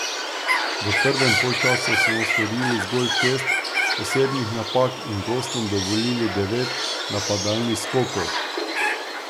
V prvem polčasu smo storili zgolj šest osebnih napak in gostom dovolili devet napadalnih skokov.